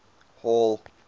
hall